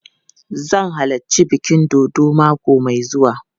Zan halarci bikin dodon mako mai zuwa.